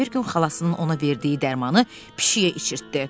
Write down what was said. Bir gün xalasının ona verdiyi dərmanı pişiyə içirtdi.